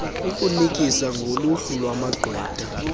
ukunikisa ngoluhlu lwamagqwetha